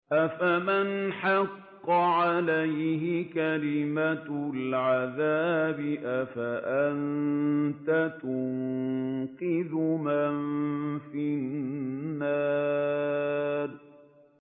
أَفَمَنْ حَقَّ عَلَيْهِ كَلِمَةُ الْعَذَابِ أَفَأَنتَ تُنقِذُ مَن فِي النَّارِ